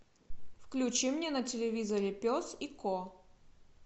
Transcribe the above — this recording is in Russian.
включи мне на телевизоре пес и ко